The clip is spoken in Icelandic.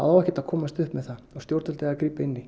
á ekkert að komast upp með það og stjórnvöld eiga að grípa inn í